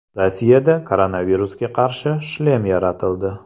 Rossiyada koronavirusga qarshi shlem yaratildi.